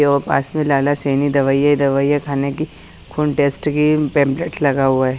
वो पास में लाला सेनी दवाई है दवाइया खाने की खून टेस्ट की पम्पलेट लगा हुआ है ।